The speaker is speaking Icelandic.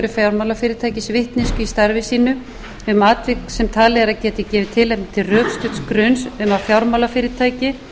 fjármálafyrirtækis vitneskju í starfi sínu um atvik sem talið er að geti gefið tilefni til rökstudds gruns um að fjármálafyrirtæki eða